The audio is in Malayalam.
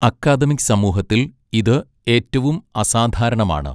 അക്കാദമിക് സമൂഹത്തിൽ ഇത് ഏറ്റവും അസാധാരണമാണ്.